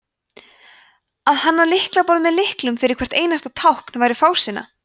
að hanna lyklaborð með lyklum fyrir hvert einasta tákn væri fásinna